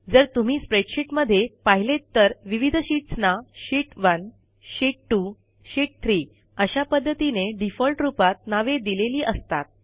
जर तुम्ही स्प्रेडशीटमध्ये पाहिलेत तर विविध शीटसना शीत1 शीत 2 शीत 3 अशा पध्दतीने डिफॉल्ट रूपात नावे दिलेली असतात